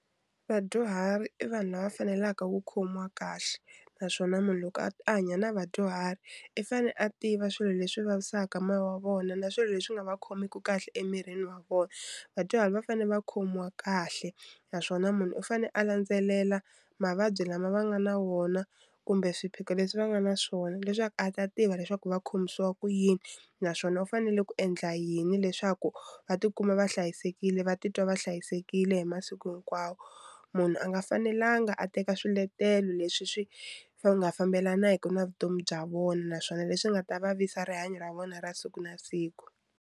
Vadyuhari i vanhu lava faneleke ku khomiwa kahle naswona munhu loko a a hanya na vadyuhari i fanele a tiva swilo leswi vavisaka moya wa vona na swilo leswi nga va khomeki kahle emirini wa vona vadyuhari va fanele va khomiwa kahle naswona munhu u fane a landzelela mavabyi lama va nga na wona kumbe swiphiqo leswi va nga na swona leswaku a ta tiva leswaku va khomisiwa ku yini naswona u fanele ku endla yini leswaku va tikuma va hlayisekile va titwa va hlayisekile hi masiku hinkwawo munhu a nga fanelanga a teka swiletelo leswi swi nga fambelanaka na vutomi bya vona naswona leswi nga ta vavisa rihanyo ra vona ra siku na siku.